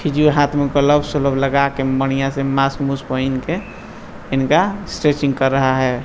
फिजिये हाथ में ग्लव वशल्व लगा के बढियाँ से मास्क उस्क पहिन के इनका स्त्रेचिंग कर रहा है।